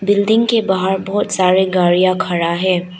Building के बाहर बहोत सारे गाड़ियां खड़ा है।